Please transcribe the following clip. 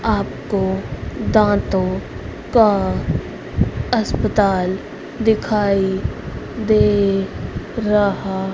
आपको दांतों का अस्पताल दिखाई दे रहा--